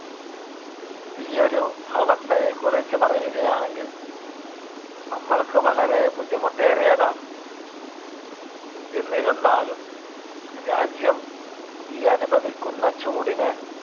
ഈ ഒരു അവസ്ഥയെ കുറിച്ച് പറയുകയാണെങ്കിൽ നമ്മള്‍ക്ക് വളരെ ബുദ്ധിമുട്ടേറിയതാണ്. എന്നിരുന്നാലും രാജ്യം ഈ അനുഭവിക്കുന്ന ചൂടിന്